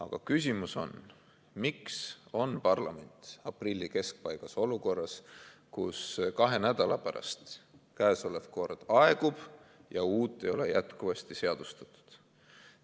Aga küsimus on, miks on parlament aprilli keskpaigas olukorras, kus kahe nädala pärast kehtiv kord aegub ja uut ei ole jätkuvasti seadustatud.